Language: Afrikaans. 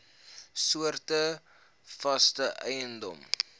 soorte vaste eiendom